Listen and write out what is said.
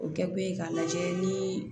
O kɛ kun ye k'a lajɛ ni